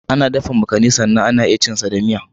Ana dafa makani sannan ana iya cin sa da miya.